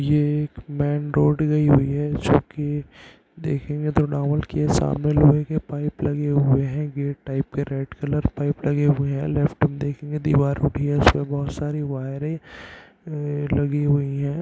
ये एक main road गई हुई है जो की देखेंगे की सामने लोहै के पाइप लगे हुए हैं गेट टाइप के रेड कलर पाइप लगे हुए हैं लेफ्ट में देखेंगे दीवार उठी है उसपे बहोत सारी वायरें लगी हुई हैं।